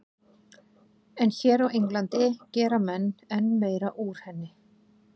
En hér á Englandi gera menn enn meira úr henni.